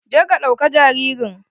Je ka ɗauka jaririn.